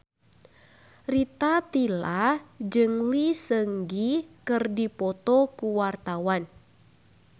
Rita Tila jeung Lee Seung Gi keur dipoto ku wartawan